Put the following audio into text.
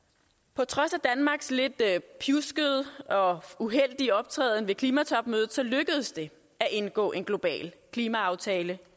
på trods af danmarks lidt pjuskede og uheldige optræden ved klimatopmødet lykkedes det at indgå en global klimaaftale